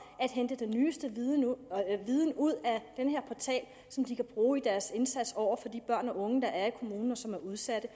at hente den nyeste viden ud viden ud af den her portal som de kan bruge i deres indsats over for de børn og unge der er i kommunen og som er udsatte